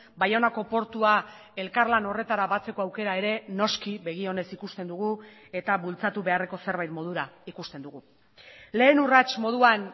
baionako portua elkarlan horretara batzeko aukera ere noski begionez ikusten dugu eta bultzatu beharreko zerbait modura ikusten dugu lehen urrats moduan